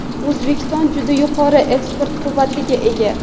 O‘zbekiston juda yuqori eksport quvvatiga ega.